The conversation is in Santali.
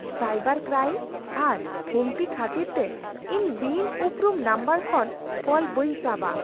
ᱥᱟᱭᱵᱟᱨ ᱠᱨᱟᱭᱤᱢ ᱟᱜ ᱦᱩᱢᱠᱤ ᱠᱷᱟᱹᱛᱤᱨ ᱛᱮ ᱤᱧ ᱵᱤᱱ ᱩᱯᱨᱩᱢ ᱱᱟᱢᱵᱟᱨ ᱠᱷᱚᱱ ᱠᱚᱞ ᱵᱟᱹᱧ ᱥᱟᱵᱟ ᱾